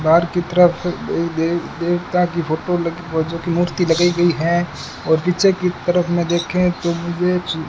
बाहर की तरफ एक दे देवता की फोटो लगी पहुंचे की मूर्ति लगाई गई है और पीछे की तरफ में देखें तो मुझे --